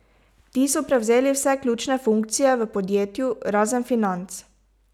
Ti so prevzeli vse ključne funkcije v podjetju, razen financ.